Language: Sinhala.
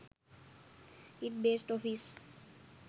it based office